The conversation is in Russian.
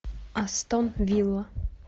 астон вилла